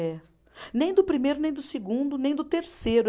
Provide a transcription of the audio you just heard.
É. Nem do primeiro, nem do segundo, nem do terceiro.